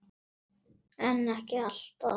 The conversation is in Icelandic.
en ekki alltaf